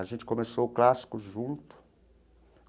A gente começou o clássico junto.